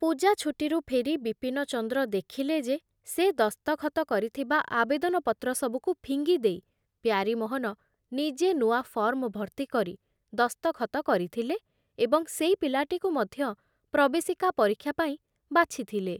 ପୂଜା ଛୁଟିରୁ ଫେରି ବିପିନଚନ୍ଦ୍ର ଦେଖିଲେ ଯେ ସେ ଦସ୍ତଖତ କରିଥିବା ଆବେଦନପତ୍ର ସବୁକୁ ଫିଙ୍ଗି ଦେଇ ପ୍ୟାରୀମୋହନ ନିଜେ ନୂଆ ଫର୍ମ ଭର୍ତ୍ତି କରି ଦସ୍ତଖତ କରିଥିଲେ ଏବଂ ସେଇ ପିଲାଟିକୁ ମଧ୍ୟ ପ୍ରବେଶିକା ପରୀକ୍ଷା ପାଇଁ ବାଛିଥିଲେ ।